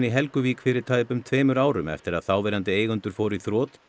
Helguvík fyrir tæpum tveimur árum eftir að þáverandi eigendur fóru í þrot